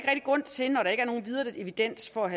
grund til når der ikke er nogen videre evidens for